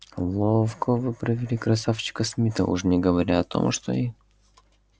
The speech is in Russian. ловко вы провели красавчика смита уж не говоря о том что и